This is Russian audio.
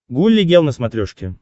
гулли гел на смотрешке